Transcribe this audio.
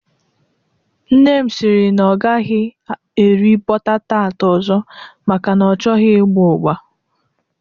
Nne m siri na ọ agaghị eri bọta tart ọzọ maka na ọ chọghị ịgba ụgba